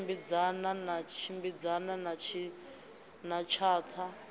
tshimbidzana na tshimbidzana na tshatha